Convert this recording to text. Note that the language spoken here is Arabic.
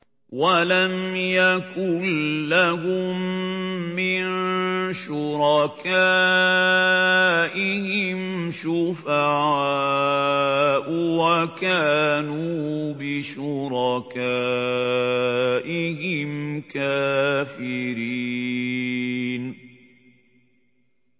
وَلَمْ يَكُن لَّهُم مِّن شُرَكَائِهِمْ شُفَعَاءُ وَكَانُوا بِشُرَكَائِهِمْ كَافِرِينَ